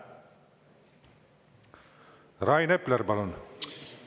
Rain Epler, palun!